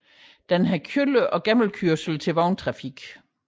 Den har kælder og gennemkørsel til vogntrafik